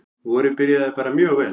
Vorið byrjaði bara mjög vel.